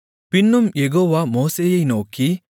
பின்னும் யெகோவா மோசேயை நோக்கி